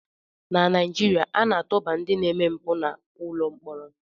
Na Naijiria, a na-atụba ndị na-eme mpụ n'ụlọ mkpọrọ